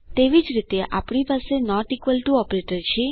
તેવી જ રીતે આપણી પાસે નોટ ઇકવલ ટુ ઓપરેટર છે